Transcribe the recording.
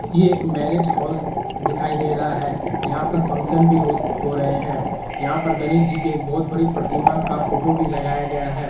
ये एक marriage hall दिखाई दे रहा है यहाँ पर फंक्शन भी हो रहे हैं यहाँ पर गणेश जी के बहुत बड़ी प्रतिमा का फोटो भी लगाया गया है।